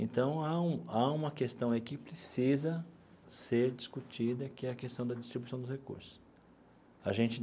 Então, há um há uma questão aí que precisa ser discutida, que é a questão da distribuição dos recursos a gente.